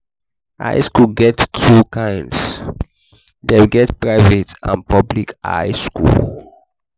high school get two kinds dem get private and public high school